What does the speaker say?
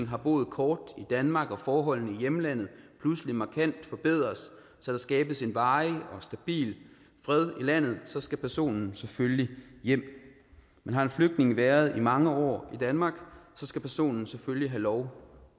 har boet kort i danmark og forholdene i hjemlandet pludselig markant forbedres så der skabes en varig og stabil fred i landet så skal personen selvfølgelig hjem men har en flygtning været i mange år i danmark skal personen selvfølgelig have lov